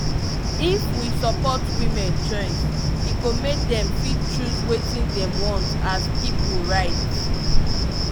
if we support women choice e go make dem fit choose wetin dem want as pipu right